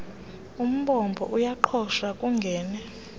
umbombo uyaqhosha kungene